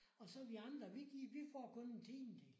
Og så vi andre vi gir vi får kun en tiendedel